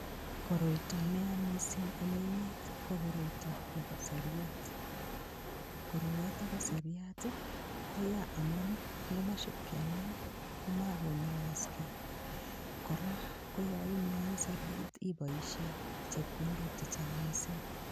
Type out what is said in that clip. Koroito neya mising' eng' emet ko koroito nebo seriat koroyoto bo seriat koya amun ngomashipkenai komakonyoyoskei kora ko yo inyoi seriat iboishe chepkondok chechang' mising'